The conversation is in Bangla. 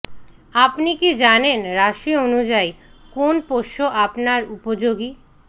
আপনি কি জানেন রাশি অনুযায়ী কোন পোষ্য আপনার উপযোগী